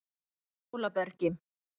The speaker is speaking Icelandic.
Hólabergi